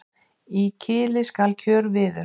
Í kili skal kjörviður.